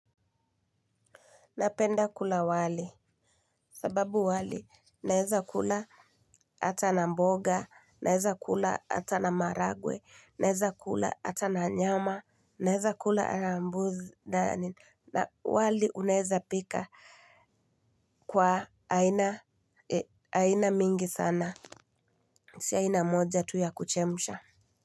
Napenda kula wali, sababu wali naweza kula hata na mboga, naweza kula hata na maharagwe, naweza kula hata na nyama, naweza kula na mbuzi, na wali unaweza pika kwa aina mingi sana, si aina moja tu ya kuchemsha.